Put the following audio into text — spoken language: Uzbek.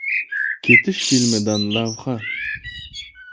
“Ketish” filmidan lavha.